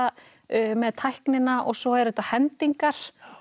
með tæknina og svo eru þetta hendingar